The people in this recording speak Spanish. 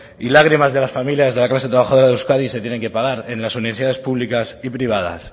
y lágrimas de las familias de la clase trabajadora de euskadi se tienen que pagar en las universidades públicas y privadas